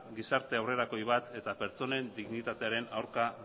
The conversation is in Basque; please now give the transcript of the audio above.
gizarte aurrerakoi bat eta pertsonen dignitatearen aurka